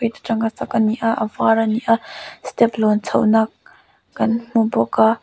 chak a ni a a var a ni a step lawm chhohna kan hmu bawk a.